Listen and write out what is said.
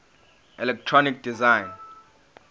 electronic design